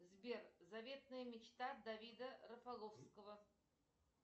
сбер заветная мечта давида рафаловского